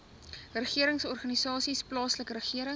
regeringsorganisasies plaaslike regering